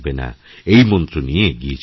এই মন্ত্র নিয়ে এগিয়ে চলুন